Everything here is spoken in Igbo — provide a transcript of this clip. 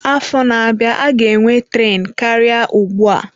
Afọ na-abịa, a ga-enwe tren karịa ugbu a.